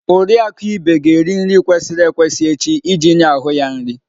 Oriakụ Ibe ga-eri nri kwesịrị ekwesị echi iji nye ahụ ya nri.